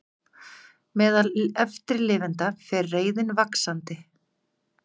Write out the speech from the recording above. Meðal eftirlifenda fer reiðin vaxandi